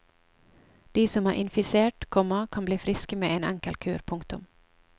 De som er infisert, komma kan bli friske med en enkel kur. punktum